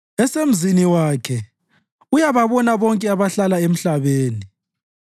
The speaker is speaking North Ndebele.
esemzini wakhe uyababona bonke abahlala emhlabeni